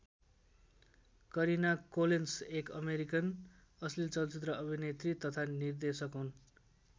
Kareena Collins एक American अश्लील चलचित्र अभिनेत्री तथा निर्देशक हुन्।